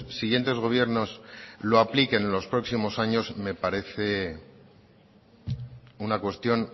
siguientes gobiernos lo apliquen los próximos años me parece una cuestión